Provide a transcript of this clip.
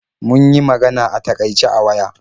Mun yi magana a takaice a waya.